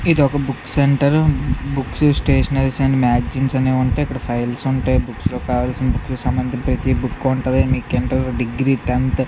ఎదో book centre book station మ్యాచ్‌ని ఉంటే ఫైల్స్ ఉంటే భూపాల్ సింగ్ సమాధానం ఇవ్వడానికేమో డిగ్రీ టెన్త్ ఇంకా స్కూల్--